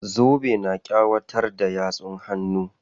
Zobe na ƙawatar da yatsun hannun.